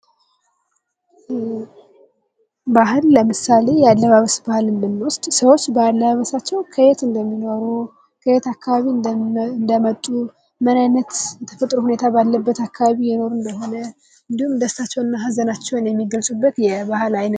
ባህል ለምሳሌ የአለባበስ ባህልና ብንወስድ ሰዎች በአለባበሳቸው ከየት እምደሚኖሩ ከየት አካባቢ እንደመጡ ምን አይነት የተፈጥሮ ሁኔታ እየኖሩ እንደሆነ እንዲሁም ደግሞ ሃዘናቸውን እና ደስታቸውን የሚገልፁበት የባህል አይነት ነው::